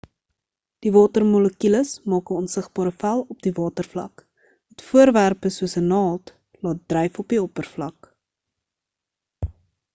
die watermolekules maak 'n onsigbare vel op die watervlak wat voorwerpe soos 'n naald laat dryf op die oppervlak